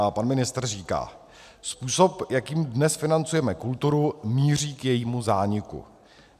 A pan ministr říká: Způsob, jakým dnes financujeme kulturu, míří k jejímu zániku.